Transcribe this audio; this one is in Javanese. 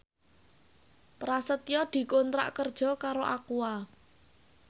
Prasetyo dikontrak kerja karo Aqua